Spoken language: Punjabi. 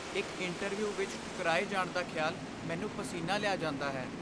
ਇੱਕ ਇੰਟਰਵਿਊ ਵਿੱਚ ਠੁਕਰਾਏ ਜਾਣ ਦਾ ਖਿਆਲ ਮੈਨੂੰ ਪਸੀਨਾ ਲਿਆ ਜਾਂਦਾ ਹੈ।